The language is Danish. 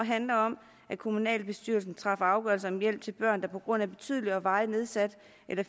handler om at kommunalbestyrelsen træffer afgørelser om hjælp til børn der på grund af betydelig og varigt nedsat